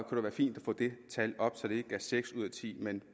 det være fint at få det tal op så det ikke er seks ud af ti men